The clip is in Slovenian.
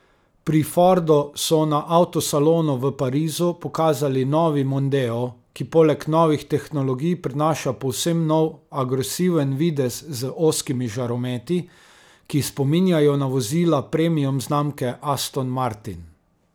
Pri Fordu so na avtosalonu v Parizu pokazali novi mondeo, ki poleg novih tehnologij prinaša povsem nov agresiven videz z ozkimi žarometi, ki spominjajo na vozila premium znamke Aston Martin.